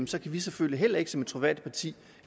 så kan vi selvfølgelig heller ikke som et troværdigt parti